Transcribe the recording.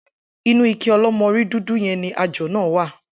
Inú ike o̩ló̩mo̩rí dúdú ye̩n ni ajò̩ náà wà